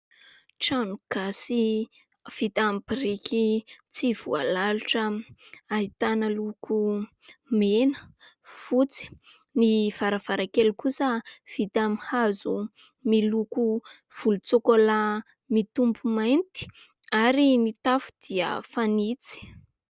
Trano gasy vita amin'ny biriky tsy voalalotra, ahitana loko mena, fotsy. Ny varavarankely kosa vita amin'ny hazo miloko volon-tsôkôlà mitopy mainty ; ary ny tafo dia fanitso.